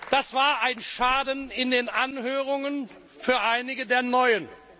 Das war ein Schaden in den Anhörungen für einige der Neuen.